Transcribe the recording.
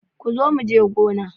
Kazo muje gona.